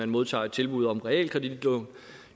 modtager et tilbud om realkreditlån